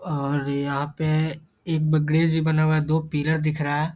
और यहाँ पे एक भी बना हुआ है दो पिलर दिख रहा है।